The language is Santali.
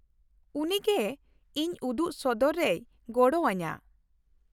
ᱩᱱᱤ ᱜᱮ ᱤᱧ ᱩᱫᱩᱜᱥᱚᱫᱚᱨ ᱨᱮᱭ ᱜᱚᱲᱚ ᱟᱹᱧᱟᱹ ᱾